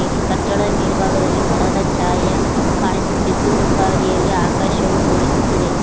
ಇದೆ ಕಟ್ಟಡದ ಮೇಲ್ಭಾಗದಲ್ಲಿ ಮರದ ಛಾಯ ಕಾಣಿಸುತ್ತಿದ್ದು ಹಿಂಬದಿಯಲ್ಲಿ ಆಕಾಶವು ತೋರಿಸುತ್ತದೆ.